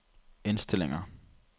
indstillinger